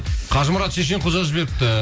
қажымұрат шешенқұл жазып жіберіпті